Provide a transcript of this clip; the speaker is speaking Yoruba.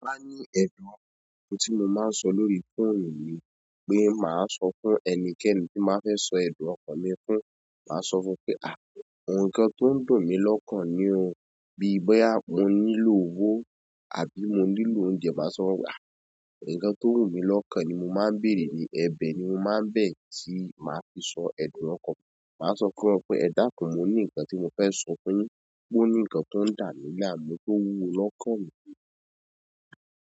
Ti mo ba bi ẹdun ọkàn, ohùn ti mo máa ń sọ lórí fóònù ni, pé màá sọ fún ẹnikẹ́ni tí mo ba fẹ́ sọ ẹ̀dun ọkàn mi fún, màá sọ fún pé "àh, ǹkan tó ń dùn mí lọ́kàn ni o." Bíi bọ́yá mo nílò owó àbí mo nílò oúnjẹ, màá sọ wípé "àh, ǹkan tó wù mí lọ́kàn ni." mo máa n bere ni, ẹ̀bẹ̀ ni mo máa ń bẹ tí màá fi sọ ẹ̀dun ọkàn, máa sọ fún wọn pé, ẹ̀dákún mo ni ǹkan tí mo fe sọ fún yín, ó ní nkan to ń dami láàmú to wúwo lọ́kàn mi.